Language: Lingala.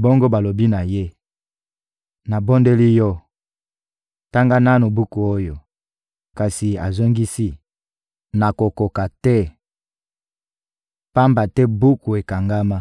bongo balobi na ye: «Nabondeli yo, tanga nanu buku oyo,» kasi azongisi: «Nakokoka te, pamba te buku ekangama.»